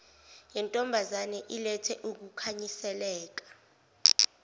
yentombazane ilethe ukukhanyiseleka